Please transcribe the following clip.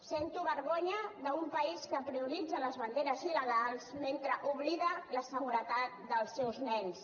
sento vergonya d’un país que prioritza les banderes il·legals mentre oblida la seguretat dels seus nens